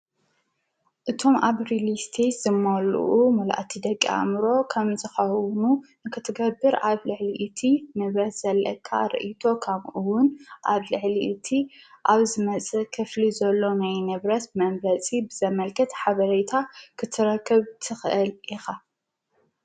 እቶም ኣብሪሊስቲ ዝማሉኡ መልእቲ ደቂ ኣምሮ ኸም ዝኸዉኑ ንክትገብር ዓብ ልሕሊእቲ ንብረስ ዘለቃ ርኢቶ ኸምኡውን ዓብልሕሊእቲ ኣብዝመጽ ኽፍሊ ዘሎነይ ነብረስ መምረጺ ብዘመልከት ሓበረታ ኽትረክብ ትኽእል ኢኻ